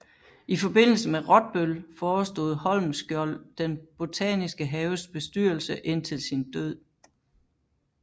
I forbindelse med Rottbøll forestod Holmskjold den botaniske haves bestyrelse indtil sin død